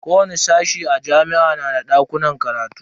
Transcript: Kowani sashe a jami'a na da dakunan karatu.